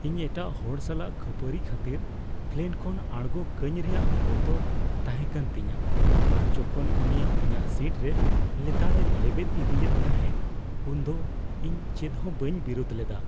ᱤᱧ ᱮᱴᱟᱜ ᱦᱚᱲ ᱥᱟᱞᱟᱜ ᱠᱷᱟᱹᱯᱟᱹᱨᱤ ᱠᱷᱟᱹᱛᱤᱨ ᱯᱞᱮᱱ ᱠᱷᱚᱱ ᱟᱬᱜᱳ ᱠᱟᱹᱧ ᱨᱮᱭᱟᱜ ᱵᱚᱛᱚᱨ ᱛᱟᱦᱮᱸᱠᱟᱱ ᱛᱤᱧᱟᱹ ᱟᱨ ᱡᱚᱠᱷᱚᱱ ᱩᱱᱤ ᱤᱧᱟᱹᱜ ᱥᱤᱴ ᱨᱮ ᱞᱮᱛᱟᱲᱮ ᱞᱮᱵᱮᱫ ᱤᱫᱤᱭᱮᱫ ᱛᱟᱦᱮᱸᱜ ᱩᱱᱫᱚ ᱤᱧ ᱪᱮᱫᱦᱚᱸ ᱵᱟᱹᱧ ᱵᱤᱨᱩᱫᱷ ᱞᱮᱫᱟ ᱾